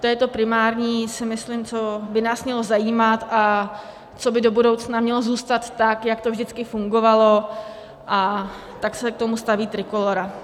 To je to primární, si myslím, co by nás mělo zajímat a co by do budoucna mělo zůstat tak, jak to vždycky fungovalo, a tak se k tomu staví Trikolóra.